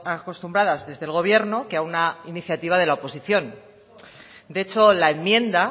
acostumbradas desde el gobierno que a una iniciativa de la oposición de hecho la enmienda